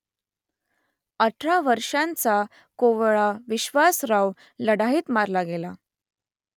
अठरा वर्षांचा कोवळा विश्वासराव लढाईत मारला गेला